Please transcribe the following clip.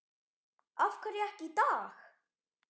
Af hverju ekki í dag?